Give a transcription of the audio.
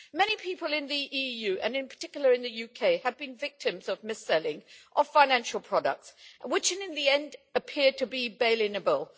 Many people in the EU, and in particular in the UK, have been victims of mis selling of financial products, which, in the end, appeared to be bail inable.